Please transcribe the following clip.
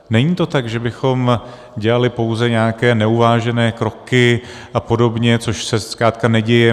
Není to tak, že bychom dělali pouze nějaké neuvážené kroky a podobně, což se zkrátka neděje.